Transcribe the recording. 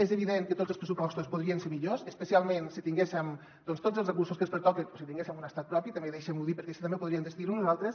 és evident que tots els pressupostos podrien ser millors especialment si tinguéssim doncs tots els recursos que ens pertoquen o si tinguéssim un estat propi també deixin m’ho dir perquè així també ho podríem decidir nosaltres